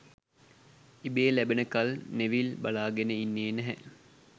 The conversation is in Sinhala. ඉබේ ලැබෙනකල් නෙවිල් බලාගෙන ඉන්නෙ නැහැ.